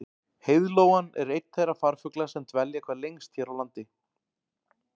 Heiðlóan er einn þeirra farfugla sem dvelja hvað lengst hér á landi.